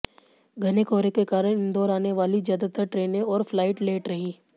घने कोहरे के कारण इंदौर आने वाली ज्यादातर ट्रेनें और फ्लाइट लेट रहीं